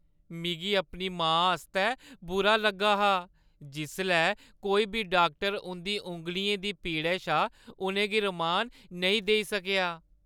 मिगी अपनी मां आस्तै बुरा लग्गा हा जिसलै कोई बी डाक्टर उंʼदी औंगलियें दी पीड़ा शा उʼनें गी रमान नेईं देई सकेआ।